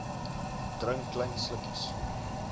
drink klein slukkies